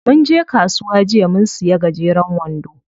Munje kasuwa jiya mun siya gajeren wando.